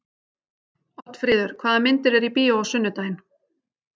Oddfríður, hvaða myndir eru í bíó á sunnudaginn?